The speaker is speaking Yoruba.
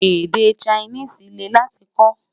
Èdè Chinese lè láti kò